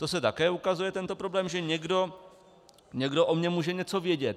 To se také ukazuje, tento problém, že někdo o mně může něco vědět.